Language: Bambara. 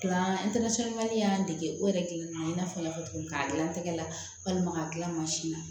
An y'an dege o yɛrɛ kelen na i n'a fɔ n y'a fɔ cogo min k'a dilan n tɛgɛ la walima ka tila mansin na